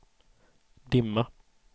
dimma